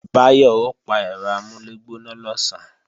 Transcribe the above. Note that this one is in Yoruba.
Báyọ̀ ó pa ẹ̀rọ amúlẹ̀gbóná lọ̀sán